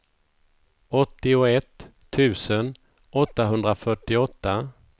åttioett tusen åttahundrafyrtioåtta